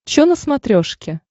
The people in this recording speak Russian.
чо на смотрешке